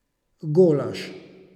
Golaž.